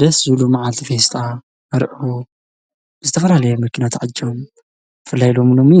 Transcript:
ደስ ዝብሉ ማዓልቲ ፌስታ መርዐኦም ዝተፋላለየ መኪና ተዓጂቦም ብፍላይ ደሞ ሎሚ